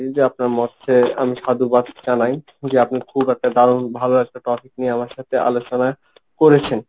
যে আপনার মতকে আমি সাধুবাদ জানাই যে আপনি খুব একটা দারুন ভালো একটা topic নিয়ে আমার সাথে আলোচনা করেছেন।